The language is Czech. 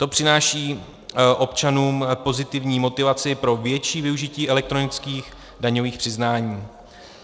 To přináší občanům pozitivní motivaci pro větší využití elektronických daňových přiznání.